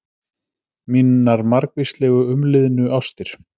Mínar margvíslegu umliðnu ástir.